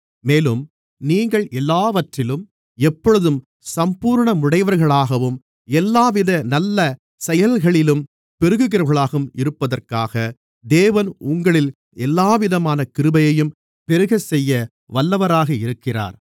மேலும் நீங்கள் எல்லாவற்றிலும் எப்பொழுதும் சம்பூரணமுடையவர்களாகவும் எல்லாவித நல்ல செயல்களிலும் பெருகுகிறவர்களாகவும் இருப்பதற்காக தேவன் உங்களில் எல்லாவிதமான கிருபையையும் பெருகச்செய்ய வல்லவராக இருக்கிறார்